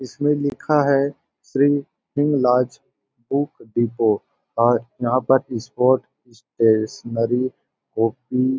इसमें लिखा है श्री हिंगराज बुक डिपो और यहाँ पर स्पोर्ट्स स्टेशनरी कॉपी --